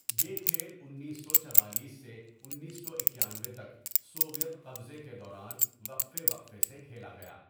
یہ کھیل انیس سو چوالیس سے انیس سو اکانوے تک سوویت قبضے کے دوران وقفے وقفے سے کھیلا گیا.